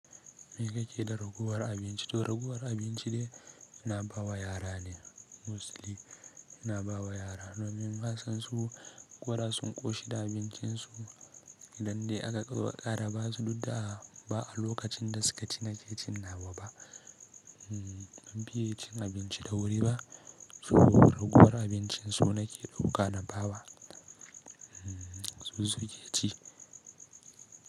Me kake da raguwar abinci? To raguwar abinci dai ina bawa yara ne mostly ina bawa yara. Domin nasan su koda sun ƙoshi da abincin su idan dai aka ƙara ba su dukda ba a lokacin da suka ci na ke cin nawa ba. Ban fiya cin abinci da wuri ba, so ragowar abincin su nake ɗauka na ba wa su suke ci.